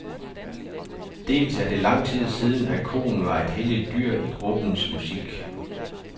Dels er det lang tid siden, at koen var et helligt dyr i gruppens musik.